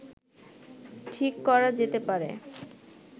ঠিক করা যেতে পারে